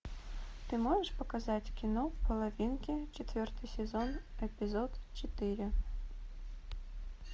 ты можешь показать кино половинки четвертый сезон эпизод четыре